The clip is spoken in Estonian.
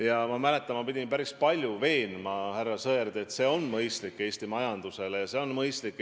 Ja ma mäletan, et pidin päris palju härra Sõerdi veenma, et see on Eesti majanduse seisukohast mõistlik.